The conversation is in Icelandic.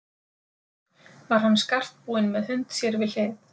Var hann skartbúinn með hund sér við hlið.